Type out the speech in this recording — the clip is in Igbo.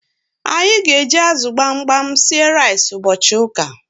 Anyi g'eji azu gbamgbam sie rice ubochi uka